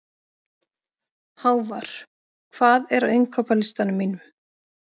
Hávarr, hvað er á innkaupalistanum mínum?